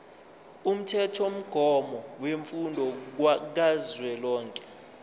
umthethomgomo wemfundo kazwelonke